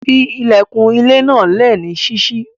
Fí ilẹ̀kun ilẹ̀ náà lé ní síṣí.